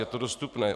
Je to dostupné.